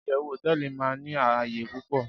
iyewu hoteeli ma ni áyè pupo